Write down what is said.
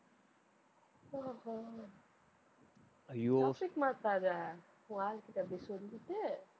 ஓ ஓ ஐயோ topic மாத்தாத உன் ஆளு கிட்ட போய் சொல்லிட்டு